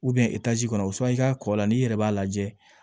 etazi kɔnɔ san i ka kɔ la n'i yɛrɛ b'a lajɛ